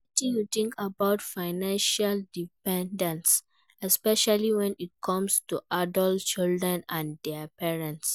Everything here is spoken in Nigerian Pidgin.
Wetin you think about financial dependence especially when it come to adult children and dia parents?